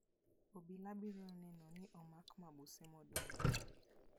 Obila biro neno ni omak mabuse modong'.